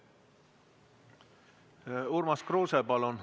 Urmas Kruuse, palun!